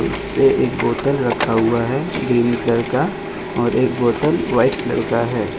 उसपे एक बोतल रखा हुआ है ग्रीन कलर का और एक बोतल व्हाइट कलर का है।